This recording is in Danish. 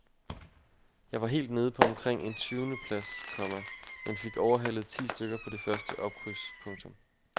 Jeg var helt nede på omkring en tyvende plads, komma men fik overhalet ti stykker på det første opkryds. punktum